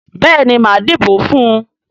Béèni máa dìbò fún ùn.